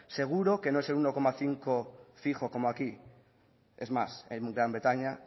seguro que no es el uno coma cinco fijo como aquí es más en gran bretaña